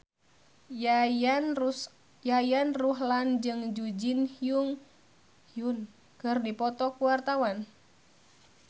Yayan Ruhlan jeung Jun Ji Hyun keur dipoto ku wartawan